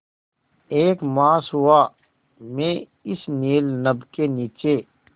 एक मास हुआ मैं इस नील नभ के नीचे